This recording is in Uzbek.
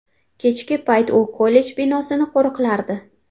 Kechki payt u kollej binosini qo‘riqlardi.